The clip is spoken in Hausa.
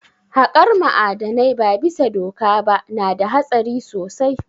Haƙar ma'adanai ba bisa doka ba na da hatsari sosai